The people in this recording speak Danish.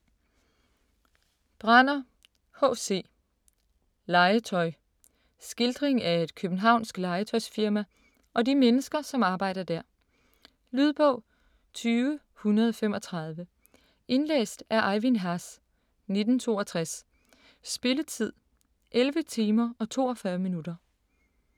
Branner, H. C.: Legetøj Skildring af et københavnsk legetøjsfirma og de mennesker, som arbejder der. Lydbog 20135 Indlæst af Ejvind Haas, 1962. Spilletid: 11 timer, 42 minutter.